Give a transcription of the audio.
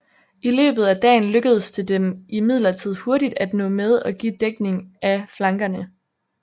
I løbet af dagen lykkedes det dem imidlertid hurtigt at nå med og give dækning af flankerne